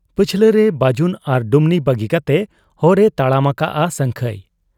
ᱯᱟᱹᱪᱷᱞᱟᱹ ᱨᱮ ᱵᱟᱹᱡᱩᱱ ᱟᱨ ᱰᱩᱢᱱᱤ ᱵᱟᱹᱜᱤ ᱠᱟᱛᱮ ᱦᱚᱨ ᱮ ᱛᱟᱲᱟᱢ ᱟᱠᱟᱜ ᱟ ᱥᱟᱹᱝᱠᱷᱟᱹᱭ ᱾